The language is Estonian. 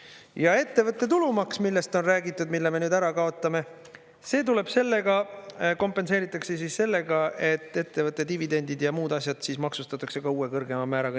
Ja ettevõtte tulumaks, millest on räägitud, mille me nüüd ära kaotame, see tuleb sellega, kompenseeritakse sellega, et ettevõtte dividendid ja muud asjad siis maksustatakse ka uue kõrgema määraga.